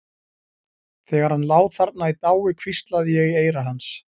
Þegar hann lá þarna í dái hvíslaði ég í eyra hans.